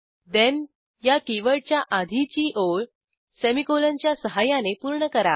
ठेण या कीवर्डच्या आधीची ओळ सेमीकोलनच्या सहाय्याने पूर्ण करा